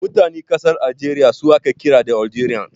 Mutanen ƙasar Aljeriya su ake kira da Algerians.